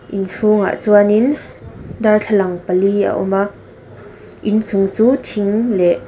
inchhungah chuan in darthlalang pali a awm a inchung chu thing leh.